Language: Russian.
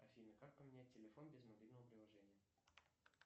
афина как поменять телефон без мобильного приложения